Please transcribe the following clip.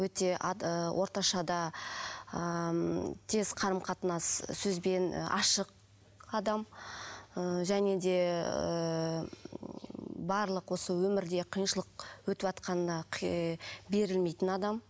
өте орташа да ыыы м тез қарым қатынас сөзбен ашық адам ыыы және де ыыы барлық осы өмірде қиыншылық өтіватқанына берілмейтін адам